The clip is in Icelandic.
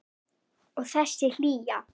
Og þessi hlýja.